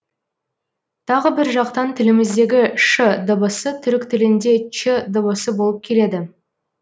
тағы бір жақтан тіліміздегі ш дыбысы түрік тілінде ч дыбысы болып келеді